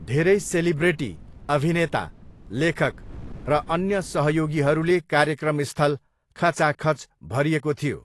धेरै सेलिब्रेटी, अभिनेता, लेखक र अन्य सहयोगीहरूले कार्यक्रम स्थल खचाखच भरिएको थियो।